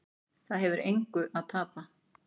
Það hefur engu að tapa